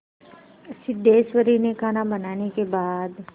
सिद्धेश्वरी ने खाना बनाने के बाद